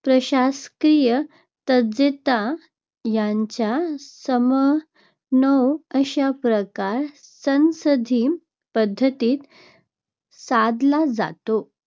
प्रशासकीय तज्ज्ञता यांचा समन्वय अशा प्रकारे संसदीय पद्धतीत साधला जातो.